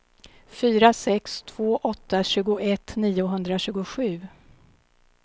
fyra sex två åtta tjugoett niohundratjugosju